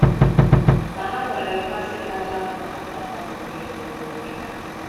Ma ha nwere mmasị kacha mma maka mmadụ niile n’obi ha.